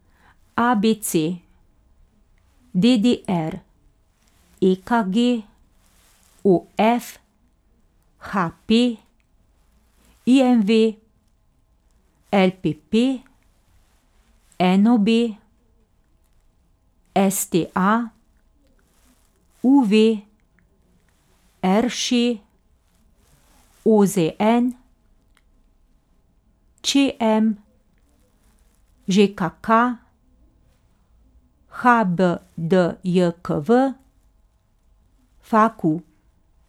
A B C; D D R; E K G; O F; H P; I M V; L P P; N O B; S T A; U V; R Š; O Z N; Č M; Ž K K; H B D J K V; F A Q.